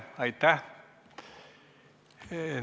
Aitäh!